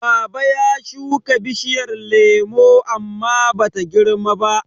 Baba ya shuka bishiyar lemo amma Bata girmaba.